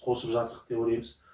қосып жатырық деп ойлаймыз